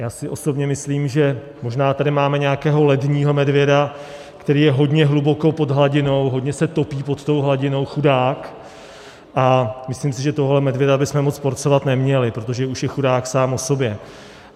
Já si osobně myslím, že možná tady máme nějakého ledního medvěda, který je hodně hluboko pod hladinou, hodně se topí pod tou hladinou, chudák, a myslím si, že tohoto medvěda bychom moc porcovat neměli, protože už je chudák sám o sobě.